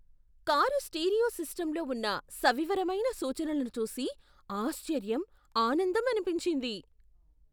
Car stereo సిస్టమ్లో ఉన్న సవివరమైన సూచనలను చూసి ఆశ్చర్యం, ఆనందం అనిపించింది.